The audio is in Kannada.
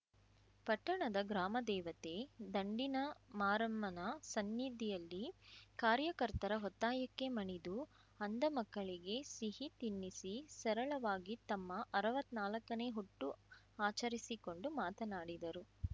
ಪಟ್ಟಣದ ಗ್ರಾಮ ದೇವತೆ ದಂಡಿನಮಾರಮ್ಮನ ಸನ್ನಿಧಿಯಲ್ಲಿ ಕಾರ್ಯಕರ್ತರ ಒತ್ತಾಯಕ್ಕೆ ಮಣಿದು ಅಂಧ ಮಕ್ಕಳಿಗೆ ಸಿಹಿ ತಿನ್ನಿಸಿ ಸರಳವಾಗಿ ತಮ್ಮ ಅರ್ವತ್ ನಾಲಕ್ಕನೇ ಹುಟ್ಟು ಆಚರಿಸಿಕೊಂಡು ಮಾತನಾಡಿದರು